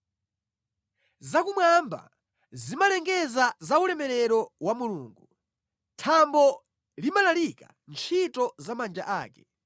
Zakumwamba zimalengeza za ulemerero wa Mulungu; thambo limalalikira ntchito za manja ake.